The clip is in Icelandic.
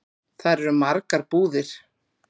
Þar eru margar búðir.